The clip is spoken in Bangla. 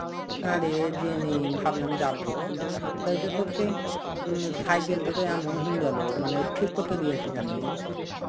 না রে জেনি. ভাবলাম যাবো. তাই তো তোর সেই উম cycle টা তো এমন হয়েন গেলো. মানে ঠিক করতে দিয়েছি জানিস.